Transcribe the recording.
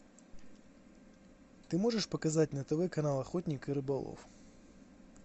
ты можешь показать на тв канал охотник и рыболов